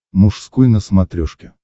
мужской на смотрешке